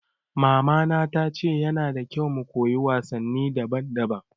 Mama na ta ce ya na da kyau mu koyi wasanni daban daban